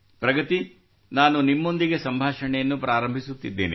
ಪ್ರಗತಿ ನಾನು ನಿಮ್ಮೊಂದಿಗೆ ಸಂಭಾಷಣೆಯನ್ನು ಪ್ರಾರಂಭಿಸುತ್ತಿದ್ದೇನೆ